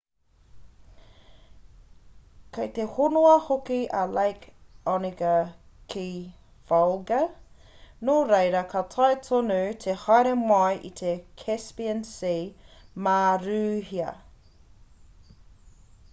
kei te honoa hoki a lake onega ki volga nō reira ka taea tonu te haere mai i te caspian sea mā rūhia